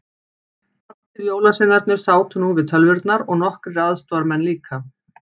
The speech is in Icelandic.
Allir jólasveinarnir sátu nú við tölvurnar og nokkrir aðstoðamenn líka.